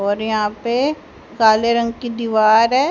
और यहां पे काले रंग की दीवार है।